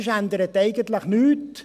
Sonst ändert sich eigentlich nichts.